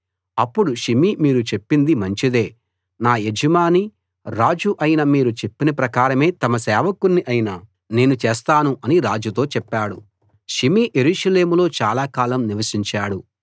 అప్పుడు షిమీ మీరు చెప్పింది మంచిదే నా యజమాని రాజు అయిన మీరు చెప్పిన ప్రకారమే తమ సేవకుణ్ణి అయిన నేను చేస్తాను అని రాజుతో చెప్పాడు షిమీ యెరూషలేములో చాలా కాలం నివసించాడు